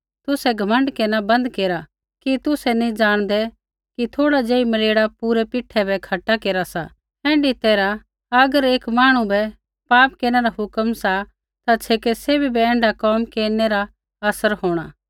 तुसै घमण्ड केरना बन्द केरा कि तुसै नैंई जाणदै कि थोड़ा ज़ेही मलेड़ा पूरै पीठे बै खट्टा केरा सा ऐण्ढी तैरहा अगर एक मांहणु बै पाप केरना रा हुक्म सा ता छेकै सैभी बै ऐण्ढा कोम केरनै रा असर होंणा